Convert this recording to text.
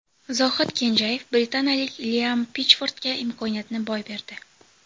Zohid Kenjayev britaniyalik Liam Pitchfordga imkoniyatni boy berdi.